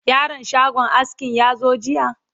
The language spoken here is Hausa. yaron shagon askin ya zo jiya?